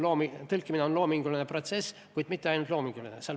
Tõlkimine on loominguline protsess, kuid mitte ainult loominguline.